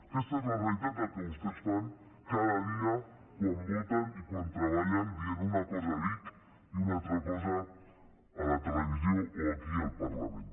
aquesta és la realitat dels que vostès fan cada dia quan voten i quan treballen dient una cosa a vic i una altra cosa a la televisió o aquí al parlament